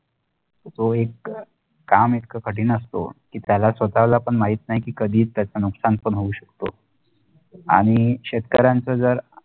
तो एक काम एकात कठीण असतो की त्याला स्वताला पण माहित नाही की कधीही त्याचा नुकसान पण होऊ शक्तो आणि शेतकरीयांचा जर